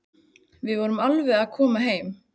Við förum alveg að koma heim.